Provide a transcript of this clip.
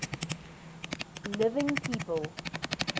living people